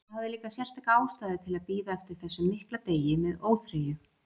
Ég hafði líka sérstaka ástæðu til að bíða eftir þessum mikla degi með óþreyju.